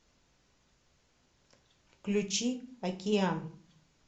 включи океан